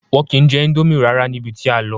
Wọn ki n jẹ ińdómì rárá níbi tí a lọ.